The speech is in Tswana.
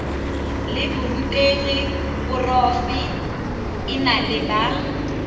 la borutegi porofe enale ba